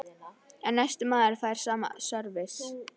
En næsti maður fær sama sörvis.